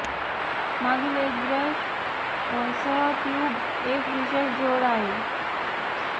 मागील एक ब्रश सह ट्यूब एक विशेष जोड आहे